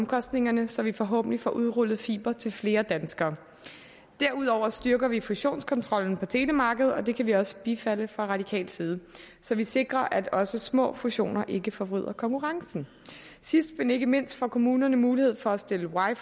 omkostningerne så vi forhåbentlig får udrullet fiber til flere danskere derudover styrker vi fusionskontrollen på telemarkedet og det kan vi jo også bifalde fra radikal side så vi sikrer at også små fusioner ikke forvrider konkurrencen sidst men ikke mindst får kommunerne mulighed for at stille wi